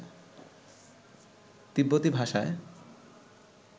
তিব্বতী ভাষায়